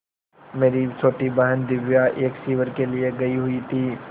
मेरी छोटी बहन दिव्या एक शिविर के लिए गयी हुई थी